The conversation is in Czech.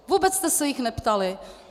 Vůbec jste se jich neptali.